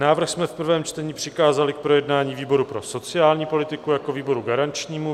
Návrh jsme v prvém čtení přikázali k projednání výboru pro sociální politiku jako výboru garančnímu.